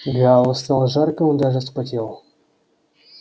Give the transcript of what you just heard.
галу стало жарко он даже вспотел